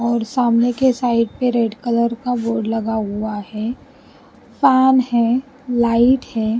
और सामने के साइड पे रेड कलर का बोर्ड लगा हुआ है फैन है लाइट है।